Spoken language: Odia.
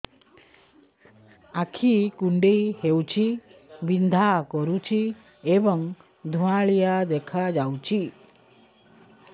ଆଖି କୁଂଡେଇ ହେଉଛି ବିଂଧା କରୁଛି ଏବଂ ଧୁଁଆଳିଆ ଦେଖାଯାଉଛି